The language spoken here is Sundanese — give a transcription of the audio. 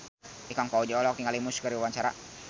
Ikang Fawzi olohok ningali Muse keur diwawancara